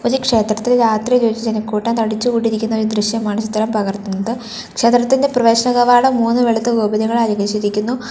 ഈ ക്ഷേത്രത്തിൽ രാത്രി ഒരു ജനക്കൂട്ടം തടിച്ചു കൂടിയിരിക്കുന്ന ഒരു ദൃശ്യമാണ് ചിത്രം പകർത്തുന്നത് ക്ഷേത്രത്തിൻറെ പ്രവേശന കവാടം മൂന്ന് വെളുത്ത ഗോപുരങ്ങളാൽ അലങ്കരിച്ചിരിക്കുന്നു.